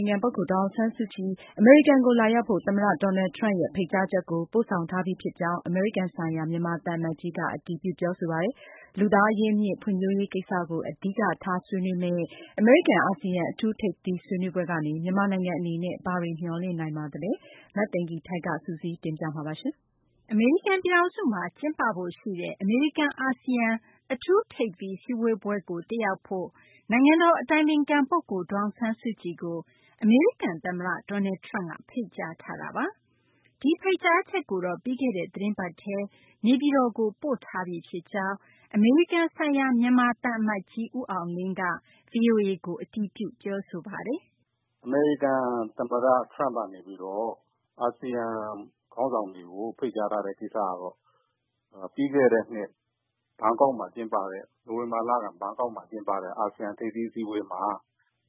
င်ခံပုဂ္ဂိုလ် ဒေါ်အောင်ဆန်းစုကြည် အမေရိကန်ကို လာရောက်ဖို့ သမ္မတ Donald Trump ရဲ့ ဖိတ်ကြားချက်ကို ပို့ဆောင်ထားပြီးဖြစ်ကြောင်း အမေရိကန်နိုင်ငံဆိုင်ရာ မြန်မာသံအမတ်ကြီးက အတည်ပြု ပြောဆိုပါတယ်။ လူသားအရင်းအမြစ် ဖွံ့ဖြိုးရေးကိစ္စကို အဓိကထား ဆွေးနွေးမယ့် အမေရိကန်-အာဆီယံ အထူး ထိပ်သီးဆွေးနွေးပွဲကနေ မြန်မာနိုင်ငံအနေနဲ့ ဘာတွေ မျှော်လင့်နိုင်ပါသလဲ၊ အပြည့်အစုံကို မသိင်္ဂီထိုက် စုစည်းတင်ပြထားပါတယ်။ အမေရိကန်ပြည်ထောင်စုမှာ ကျင်းပဖို့ရှိတဲ့ အမေရိကန်-အာဆီယံ အထူး ထိပ်သီးအစည်းအဝေးကို တက်ရောက်ဖို့ နိုင်ငံတော်အတိုင်ပင်ခံပုဂ္ဂိုလ် ဒေါ်အောင်ဆန်းစုကြည်ကို အမေရိကန်သမ္မတ Donald Trump က ဖိတ်ကြားထားပါတယ်။ ဒီဖိတ်ကြားချက်ကိုတော့ ပြီးခဲ့တဲ့ သီတင်းပတ်ထဲ နေပြည်တော်ကို ပို့ထားပြီဖြစ်ကြောင်း အမေရိကန်နိုင်ငံဆိုင်ရာ မြန်မာသံအမတ်ကြီး ဦးအောင်လင်းက ဗွီအိုအေကို အတည်ပြု ပြောဆိုပါတယ်။ “အမေရိကန်သမ္မတ Trump ကနေပြီးတော့ အာဆီယံခေါင်းဆောင်တွေကို ဖိတ်ကြားထားတဲ့ ကိစ္စကတော့ ပြီးခဲ့တဲ့နှစ် နိုဝင်ဘာလက ဘန်ကောက်မှာ ကျင်းပတဲ့ အာဆီယံ ထိပ်သီးစည်းဝေးပွဲမှာ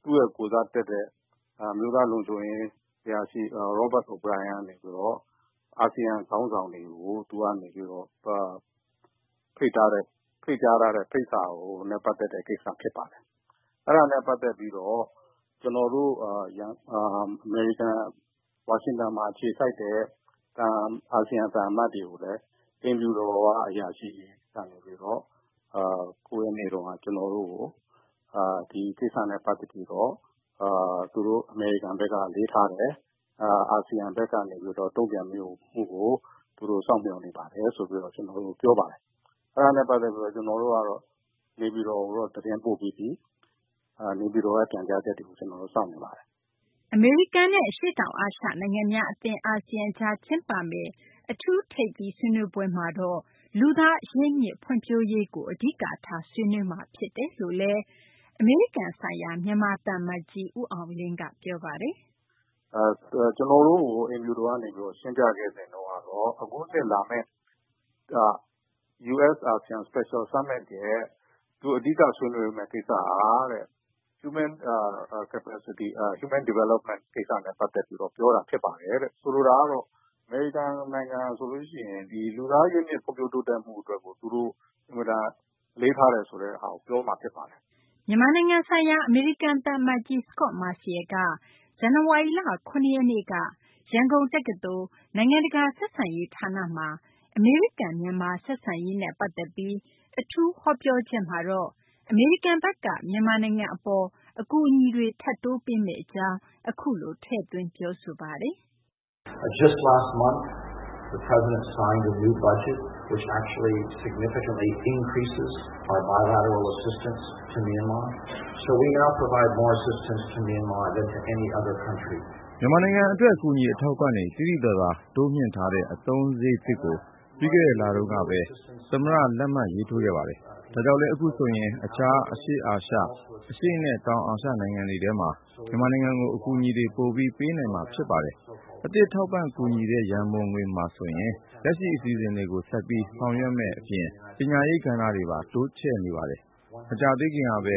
သူ့ရဲ့ကိုယ်စားတက်တဲ့ အမျိုးသားလုံခြုံရေးအရာရှိ Robert O’Brien ကနေပြီးတော့ အာဆီယံခေါင်းဆောင်တွေကို သူက ဖိတ်ကြားထားတဲ့ ဖိတ်စာနဲ့ ပတ်သက်တဲ့ကိစ္စ ဖြစ်ပါတယ်။ အဲဒါနဲ့ပတ်သက်ပြီး ကျနော်တို့ ဝါရှင်တန်မှာ အခြေစိုက်တဲ့ အာဆီယံ သံအမတ်တွေကိုလည်း အိမ်ဖြူတော်အရာရှိတွေက ကျနော်တို့ကို ၉ ရက်နေ့တုန်းက ဒီကိစ္စနဲ့ ပတ်သက်ပြီးတော့ သူတို့ အမေရိကန်ဘက်က အလေးထားတယ်။ အာဆီယံဘက်ကနေပြီးတော့ တုံ့ပြန်မှုကို စောင့်မျှော်နေပါတယ် ဆိုပြီးတော့ ပြောပါတယ်။ အဲဒါနဲ့ပတ်သက်ပြီး ကျနော်တို့ကတော့ နေပြည်တော်ကို သတင်းပို့ပြီးပြီ။ နေပြည်တော်က ပြန်ကြားချက်ကို ကျနော်တို့ စောင့်နေပါတယ်။” အမေရိကန်နဲ့ အရှေ့တောင်အာရှနိုင်ငံများအသင်း အာဆီယံကြား ကျင်းပမယ့် အထူး ထိပ်သီးဆွေးနွေးပွဲမှာတော့ လူသားအရင်းအမြစ် ဖွံ့ဖြိုးရေးကို အဓိကထား ဆွေးနွေးမှာ ဖြစ်တယ်လို့လည်း အမေရိကန်နိုင်ငံဆိုင်ရာ မြန်မာသံအမတ်ကြီး ဦးအောင်လင်းက ပြောပါတယ်။ “ကျနော်တို့ကို အိမ်ဖြူတော်က ရှင်းပြခဲ့စဉ်တုန်းကတော့ အခုနှစ်လာမယ့် US-ASEAN Special Summit ရဲ့ သူ အဓိက ဆွေးနွေးမယ့်ကိစ္စက Human Development ကိစ္စနဲ့ ပတ်သက်ပြီးတော့ ပြောတာဖြစ်ပါတယ်တဲ့။ ဆိုလိုတာကတော့ အမေရိကန်နိုင်ငံဆိုရင် လူသားအရင်းအမြစ် ဖွံ့ဖြိုးတိုးတက်မှုအတွက် သူတို့ အင်မတန် အလေးထားတယ်ဆိုတဲ့ဟာကို ပြောမှာ ဖြစ်ပါတယ်။” မြန်မာနိုင်ငံဆိုင်ရာ အမေရိကန် သံအမတ်ကြီး Scot Marciel က ဇန်နဝါရီလ ၇ ရက်နေ့က ရန်ကုန်တက္ကသိုလ် နိုင်ငံတကာဆက်ဆံရေး ဌာနမှာ အမေရိကန်-မြန်မာ ဆက်ဆံရေးနဲ့ ပတ်သက်ပြီး အထူးဟောပြောချက်မှာတော့ အမေရိကန်ဘက်က မြန်မာနိုင်ငံအပေါ် အကူအညီတွေ ထပ်တိုးပေးမယ့် အကြောင်း အခုလို ထည့်သွင်း ပြောဆိုသွားပါတယ်။ “မြန်မာနိုင်ငံအတွက် အကူအညီ အထောက်အပံ့တွေ သိသိသာသာ တိုးမြှင့်ထားတဲ့ အသုံးစရိတ်သစ်ကို ပြီးခဲ့တဲ့လတုန်းကပဲ သမ္မတ လက်မှတ်ရေးထိုးခဲ့ပါတယ်။ ဒါကြောင့်လည်း အခုဆိုရင် တခြား အရှေ့အာရှ၊ အရှေ့နဲ့ တောင်အာရှနိုင်ငံတွေထဲမှာ မြန်မာနိုင်ငံကို အကူအညီတွေ ပိုပြီး ပေးနိုင်မှာ ဖြစ်ပါတယ်။ အသစ်ထောက်ပံ့ ကူညီတဲ့ ရန်ပုံငွေမှာဆိုရင် လက်ရှိ အစီအစဉ်တွေကို ဆက်ပြီး ဆောင်ရွက်မယ့်အပြင် ပညာရေးကဏ္ဍအတွက်ပါ တိုးချဲ့နေပါတယ်။ မကြာသေးခင်ကပဲ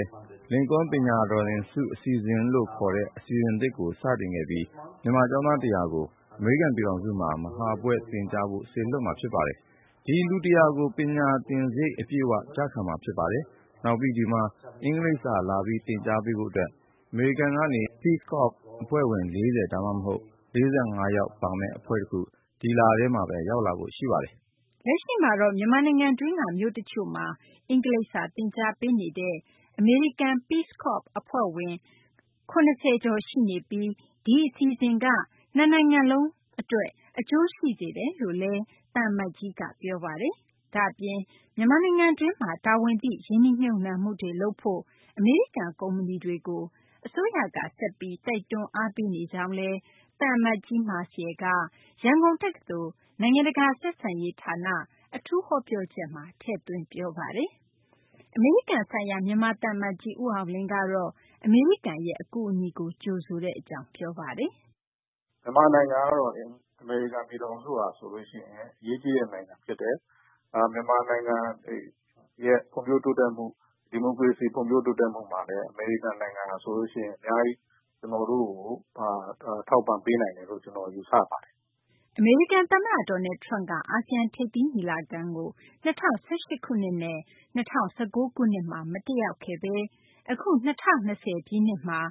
Lincoln ပညာသင်ဆု အစီအစဉ်လို့ ခေါ်တဲ့ အစီအစဉ်သစ်ကို စတင်ခဲ့ပြီး မြန်မာကျောင်းသား ၁၀၀ ကို အမေရိကန် ပြည်ထောင်စုမှာ မဟာဘွဲ့သင်ကြားဖို့ စေလွှတ်မှာ ဖြစ်ပါတယ်။ လူ ၁၀၀ ကို ပညာသင်စရိတ် အပြည့်အ၀ ကျခံမှာ ဖြစ်ပါတယ်။ နောက်ပြီး ဒီမှာ အင်္ဂလိပ်စာ လာပြီး သင်ပေးဖို့အတွက် အမေရိကန်ကနေ Peace Corps အဖွဲ့ဝင် ၄၀ ဒါမှမဟုတ် ၄၅ ယောက်ပါမယ့် အဖွဲ့တခု ဒီလထဲမှာပဲ ရောက်လာဖို့ရှိပါတယ်။” လက်ရှိမှာတော့ မြန်မာနိုင်ငံတွင်းက မြို့တချို့မှာ အင်္ဂလိပ်စာ သင်ကြားပေးနေတဲ့ အမေရိကန် Peace Corps အဖွဲ့ဝင် ၇၀ ကျော် ရှိနေပြီး ဒီအစီအစဉ်က နှစ်နိုင်ငံစလုံးအတွက် အကျိုးရှိစေတယ်လို့လည်း သံအမတ်ကြီးက ပြောဆိုထားပါတယ်။ ဒါ့အပြင် မြန်မာနိုင်ငံတွင်းမှာ တာဝန်သိ ရင်းနှီးမြှုပ်နှံမှုတွေ လုပ်ဖို့ အမေရိကန်ကုမ္ပဏီတွေကို အစိုးရက ဆက်ပြီး တိုက်တွန်း အားပေးနေကြောင်းလည်း သံအမတ်ကြီး Marciel က ရန်ကုန်တက္ကသိုလ် နိုင်ငံတကာဆက်ဆံရေးဌာန အထူးဟောပြောချက်မှာ ထည့်သွင်း ပြောဆိုသွားပါတယ်။ အမေရိကန်နိုင်ငံဆိုင်ရာ မြန်မာသံအမတ်ကြီး ဦးအောင်လင်းကတော့ အမေရိကန်ရဲ့ အကူအညီကို ကြိုဆိုကြောင်း ပြောပါတယ်။ “မြန်မာနိုင်ငံကတော့ အမေရိကန်ပြည်ထောင်စုဟာဆိုရင် အရေးကြီးတဲ့နိုင်ငံ ဖြစ်တယ်။ မြန်မာနိုင်ငံရဲ့ ဖွံ့ဖြိုးတိုးတက်မှု၊ ဒီမိုကရေစီ ဖွံ့ဖြိုးတိုးတက်မှုမှာလည်း အမေရိကန်နိုင်ငံက အများကြီး ကျနော်တို့ကို ထောက်ပံ့ပေးနိုင်တယ်လို့ ကျနော် ယူဆပါတယ်။” အမေရိကန်သမ္မတ Donald Trump က အာဆီယံ ထိပ်သီးညီလာခံကို ၂၀၁၈ ခုနှစ်နဲ့ ၂၀၁၉ ခုနှစ်မှာ မတက်ရောက်ခဲ့ဘဲ အခု ၂၀၂၀ မှာ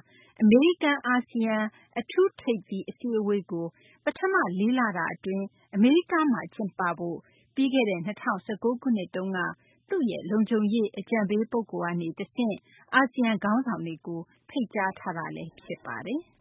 အမေရိကန်-အာဆီယံ အထူး ထိပ်သီးအစည်းအဝေးကို ပထမ လေးလတာအတွင်း ကျင်းပဖို့ ပြီးခဲ့တဲ့ ၂၀၁၉ ခုနှစ်က သူ့ရဲ့ လုံခြုံရေးအကြံပေး ပုဂ္ဂိုလ်ကနေတဆင့် ဖိတ်ကြားခဲ့တာ ဖြစ်ပါတယ်။